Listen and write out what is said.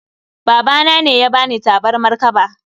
Babana ne ya bani tabarmar kaba